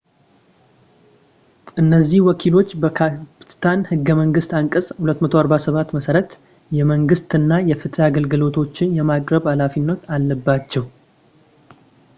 እነዚህ ወኪሎች በፓኪስታን ህገ መንግስት አንቀጽ 247 መሠረት የመንግስት እና የፍትህ አገልግሎቶችን የማቅረብ ሃላፊነት አለባቸው